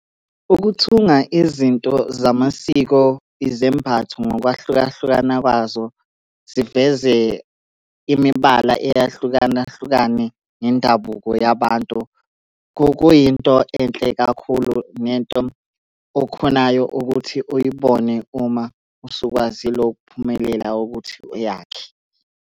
Ukuthunga izinto zamasiko izembatho ngokwahlukahlukana kwazo, ziveze imibala eyahlukana hlukane ngendabuko yabantu, kuyinto enhle kakhulu nento okhonayo ukuthi uyibone uma usukwazile ukuphumelela ukuthi uyakhe.